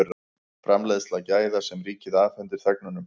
Framleiðsla gæða sem ríkið afhendir þegnunum